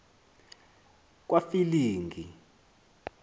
kwafilingi